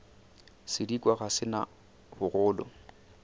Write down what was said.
sedikwa ga se na bogolo